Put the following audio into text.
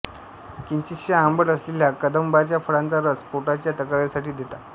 किंचितशा आंबट असलेल्या कदंबाच्या फळांचा रस पोटाच्या तक्रारींसाठी देतात